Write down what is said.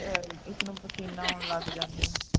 ਅਹ ਇਸ ਨੂੰ ਪਸੀਨਾ ਆਉਣ ਲੱਗ ਜਾਂਦੇ ਨੇ